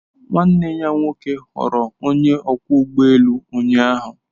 Nwanne ya nwoke ghọrọ onye ọkwọ ụgbọ elu ụnyaahụ.